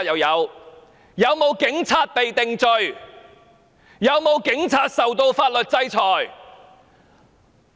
有沒有警察受到法律制裁？